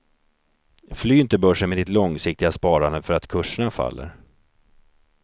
Fly inte börsen med ditt långsiktiga sparande för att kurserna faller.